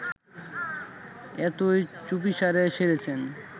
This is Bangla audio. এতই চুপিসারে সেরেছেন